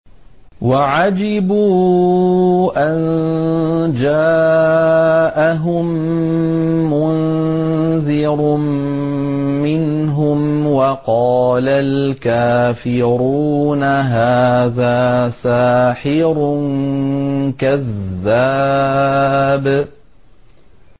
وَعَجِبُوا أَن جَاءَهُم مُّنذِرٌ مِّنْهُمْ ۖ وَقَالَ الْكَافِرُونَ هَٰذَا سَاحِرٌ كَذَّابٌ